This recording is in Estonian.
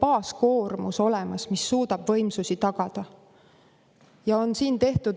baaskoormuse tagamise võimsused olemas.